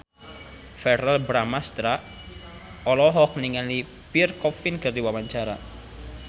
Verrell Bramastra olohok ningali Pierre Coffin keur diwawancara